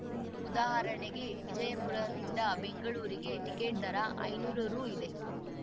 ಉದಾಹರಣಗೆ ವಿಜಯಪುರನಿಂದ ಬೆಂಗಳೂರಿಗೆ ಟಿಕೆಟ್‌ ದರ ಐದುನೂರು ರು ಇದೆ